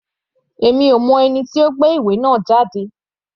Èmi kò mọ ẹni tí ó gbé ìwé náà jáde.